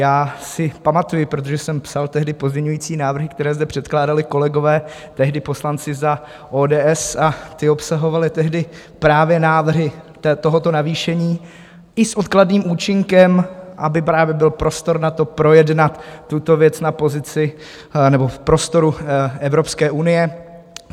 Já si pamatuji, protože jsem psal tehdy pozměňovací návrhy, které zde předkládali kolegové, tehdy poslanci za ODS, a ty obsahovaly tehdy právě návrhy tohoto navýšení i s odkladným účinkem, aby právě byl prostor na to, projednat tuto věc na pozici nebo v prostoru Evropské unie.